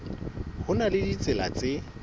ho na le ditsela tse